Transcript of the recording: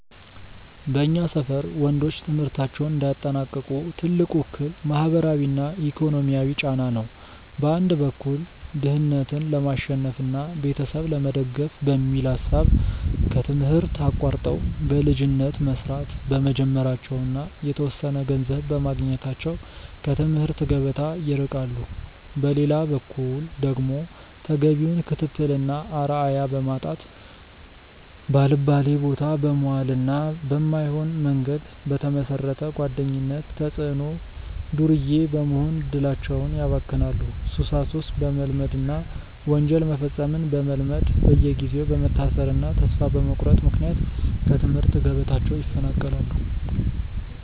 በእኛ ሰፈር ወንዶች ትምህርታቸውን እንዳያጠናቅቁ ትልቁ እክል ማህበራዊና ኢኮኖሚያዊ ጫና ነው። በአንድ በኩል ድህነትን ለማሸነፍና ቤተሰብ ለመደገፍ በሚል ሐሳብ ከትምህርት አቋርጠው በልጅነት መስራት በመጀመራቸውና የተወሰነ ገንዘብ በማግኘታቸው ከትምህርት ገበታ ይርቃሉ። በሌላ በኩል ደግሞ ተገቢውን ክትትልና አርአያ በማጣት፣ ባልባሌቦታ በመዋልና በማይሆን መንገድ በተመሰረተ ጓደኝነት ተጽዕኖ ዱርዬ በመሆን እድላቸውን ያባክናሉ፤ ሱሳሱስ በመልመድና ወንጀል መፈጸምን በመልመድ በየጊዜው በመታሰርና ተስፋ በመቁረጥ ምክንያት ከትምህርት ገበታቸው ይፈናቀላሉ።